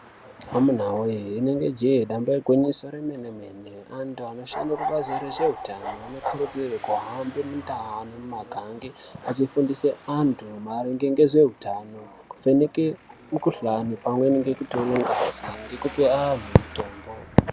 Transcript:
Amunawe rinenge jee damba igwinyiso remene mene antu anoshande kubazi rezveutano anokurudzirwa kuhambe mundau ngemumagange achifundise antu maringe ngezveutano kuvheneke mikhuhlani pamweni ngekutore ngazi ngekupe anhu mitombo.